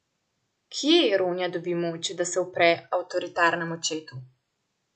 Kje Ronja dobi moč, da se upre avtoritarnemu očetu?